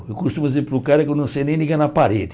Eu costumo dizer para o cara que eu não sei nem ligar na parede.